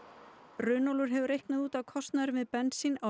Runólfur hefur reiknað út að kostnaður við bensín á